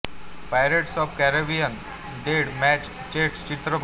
pirates of the Caribbean dead man's chest चित्रपट